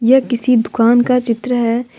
यह किसी दुकान का चित्र है।